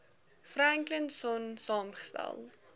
franklin sonn saamgestel